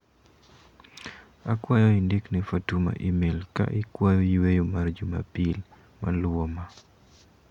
Akwayo indik ne Fatuma imel ka ikwayo yueyo mar juma pil maluwo ma.